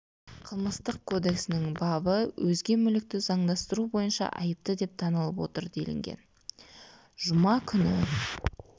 қылмыстық кодексінің бабы бабы өзге мүлікті заңдастыру бойынша айыпты деп танылып отыр делінген жұма күні